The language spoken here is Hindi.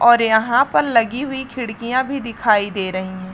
और यहाँ पर लगी हुई खिड़कियाँ भी दिखाई दे रही है।